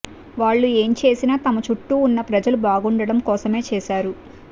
వాళ్లు ఏంచేసినా తమ చుట్టూ వున్న ప్రజలు బాగుండటం కోసమే చేశారు